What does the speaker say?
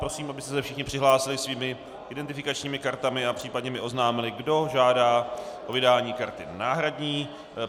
Prosím, abyste se všichni přihlásili svými identifikačními kartami a případně mi oznámili, kdo žádá o vydání karty náhradní.